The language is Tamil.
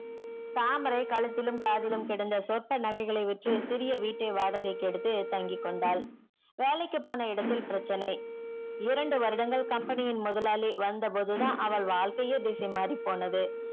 தாமரை கழுத்திலும் காதிலும் கிடந்த சொற்ப்ப நகைகள வச்சி சிறிய வீட்டை வாடகைக்கி எடுத்து தங்கி கொண்டால் வேலைக்கு போன இடத்தில் பிரட்ச்சனை இரண்டு வருடங்கள் company யின் மொதலாளி வந்த பொது தான் அவள் வாழ்க்கையே திசை மாறி போனது